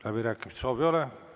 Läbirääkimiste soovi ei ole.